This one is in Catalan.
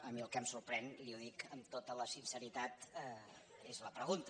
a mi el que em sorprèn i ho dic amb tota la sinceritat és la pregunta